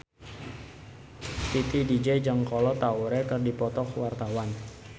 Titi DJ jeung Kolo Taure keur dipoto ku wartawan